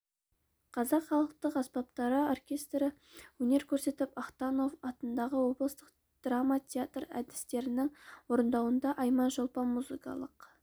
қазақ халықтық аспаптары оркестрі өнер көрсетіп ахтанов атындағы облыстық драма театр әртістерінің орындауында айман-шолпан музыкалық